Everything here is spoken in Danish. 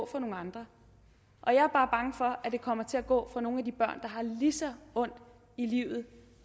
fra nogle andre og jeg er bare bange for at det kommer til at gå fra nogle af de børn har lige så ondt i livet